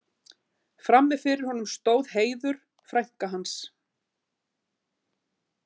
Frammi fyrir honum stóð Heiður, frænka hans.